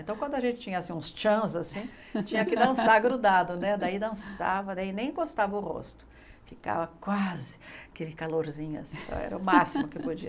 Então quando a gente tinha uns chans assim, tinha que dançar grudado, daí dançava, nem encostava o rosto, ficava quase aquele calorzinho, era o máximo que podia.